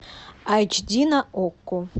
эйч ди на окко